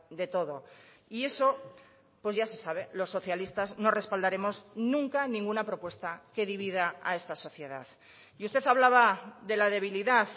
de todo y eso pues ya se sabe los socialistas no respaldaremos nunca ninguna propuesta que divida a esta sociedad y usted hablaba de la debilidad